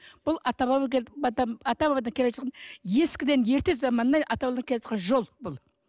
бұл ата баба ата бабадан келе жатқан ескіден ерте заманнан ата бабадан келе жатқан жол бұл